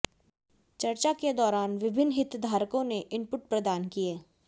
चर्चा के दौरान विभिन्न हितधारकों ने इनपुट प्रदान किये